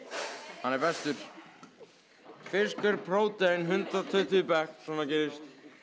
hann er bestur fiskur prótein hundrað og tuttugu í bekk svona gerist